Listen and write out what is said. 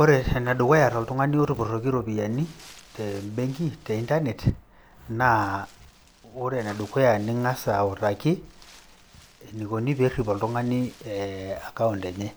Ore ene dukuya toltung`ani otupuroyioki irropiyiani te benki te internet. Naa ore ene dukuya naa ing`as autaki enikoni pee errip oltung`ani account enye.